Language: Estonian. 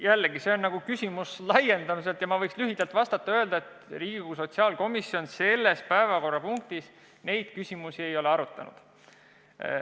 Jällegi, see on laiem küsimus ja ma võiks lühidalt vastata, et Riigikogu sotsiaalkomisjon selle eelnõuga seoses neid asju ei ole arutanud.